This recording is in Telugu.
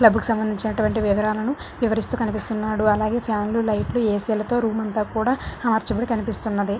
క్లబ్బు కి సంబంధించినటువంటి వివరాలను వివరిస్తూ కనిపిస్తున్నాడు. అలాగే ఫ్యాన్ లు లైట్ లు ఏ_సి లతో రూమ్ అంతా కూడా ఆ చివర కనిపిస్తూ ఉన్నది.